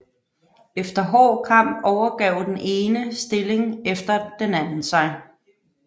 Efter hård kamp overgav den ene stilling efter den anden sig